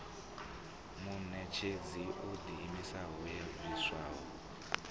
muṋetshedzi o ḓiimisaho yo bviswaho